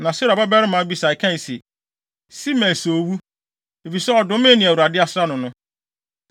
Na Seruia babarima Abisai kae se, “Simei sɛ owu, efisɛ ɔdomee nea Awurade asra no no.”